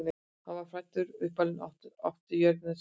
þar var hann fæddur og uppalinn og átti jörðina síðan lengi